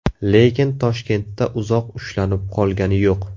Lekin Toshkentda uzoq ushlanib qolgani yo‘q.